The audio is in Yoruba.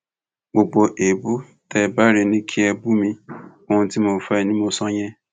gbogbo èébú tẹ ẹ bá rí ni kí ẹ bù mí ohun tí mo fẹ ni mo sọ yẹn